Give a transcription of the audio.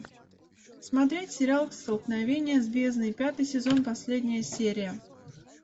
смотреть сериал столкновение с бездной пятый сезон последняя серия